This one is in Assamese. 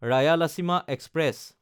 ৰায়ালাচীমা এক্সপ্ৰেছ